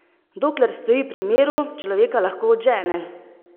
Dokler stoji pri miru, človeka lahko odžene!